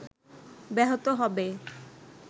ব্যাহত হবে